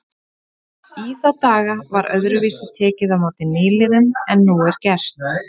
Í þá daga var öðruvísi tekið á móti nýliðum en nú er gert.